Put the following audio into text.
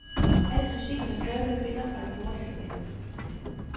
Al musikken er skrevet af kvinder fra de nordiske lande.